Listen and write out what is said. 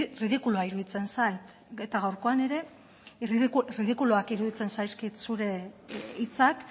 ridikulua iruditzen zait eta gaurkoan ere ridikuluak iruditzen zaizkit zure hitzak